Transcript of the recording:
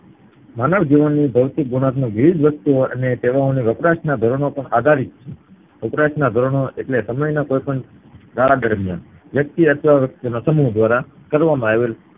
માનવ જીવનની ભૌતિકગુણવત્તા વિવિધ રીતે અને તેઓના વપરાશ ને આધારિત વપરાશ ના ધોરણો એટલે સમય ના કોઈ પણ ગાળા દરમિયાન વ્યક્તિ અથવા વ્યક્તિ ના સમુહ દ્વારા કરવામાં આવેલ